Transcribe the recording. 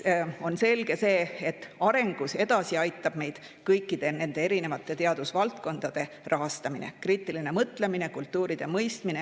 On selge see, et arengus edasi aitab meid kõikide nende erinevate teadusvaldkondade rahastamine, kriitiline mõtlemine, kultuuride mõistmine.